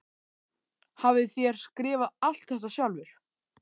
Hafið þér skrifað allt þetta sjálfur?